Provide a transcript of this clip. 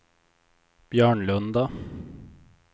Björnlunda